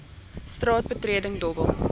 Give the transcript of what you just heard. straat betreding dobbel